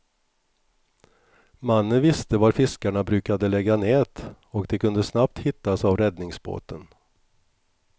Mannen visste var fiskarna brukade lägga nät, och de kunde snabbt hittas av räddningsbåten.